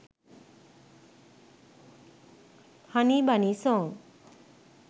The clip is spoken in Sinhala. honey bunny song